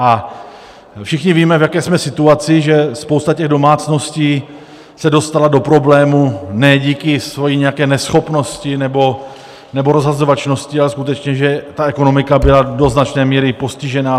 A všichni víme, v jaké jsme situaci, že spousta těch domácností se dostala do problémů ne díky své nějaké neschopnosti nebo rozhazovačnosti, ale skutečně, že ta ekonomika byla do značné míry postižena.